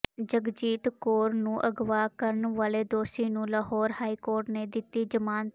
ਜਗਜੀਤ ਕੌਰ ਨੂੰ ਅਗਵਾ ਕਰਨ ਵਾਲੇ ਦੋਸ਼ੀ ਨੂੰ ਲਾਹੌਰ ਹਾਈਕੋਰਟ ਨੇ ਦਿੱਤੀ ਜ਼ਮਾਨਤ